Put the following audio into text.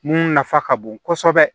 Mun nafa ka bon kosɛbɛ